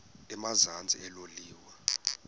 emazantsi elo liwa